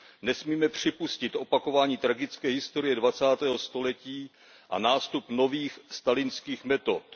Nesmíme připustit opakování tragické historie dvacátého století a nástup nových stalinských metod.